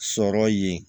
Sɔrɔ yen